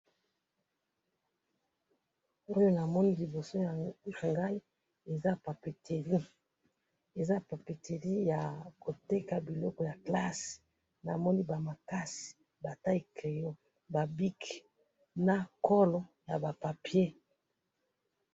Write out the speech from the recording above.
oyo namoni liboso nangai, eza papeterie, eza papeterie ya koteka biloko ya classe, namoni ba makasi, ba tailles crayons, ba bics, na colle, naba papiers